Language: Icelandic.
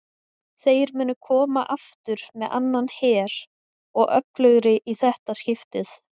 Þeir munu koma aftur með annan her og öflugri í þetta skiptið!